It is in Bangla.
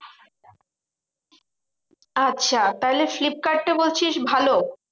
আচ্ছা তাহলে ফ্লিপকার্ডটা বলছিস ভালো?